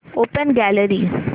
open gallery